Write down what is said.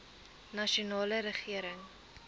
nasionale regering